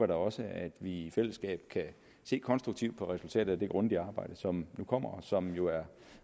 da også at vi i fællesskab kan se konstruktivt på resultatet af det grundige arbejde som nu kommer og som jo er